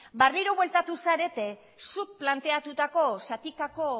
berriro bueltatu zarete zuk planteatutako zatikako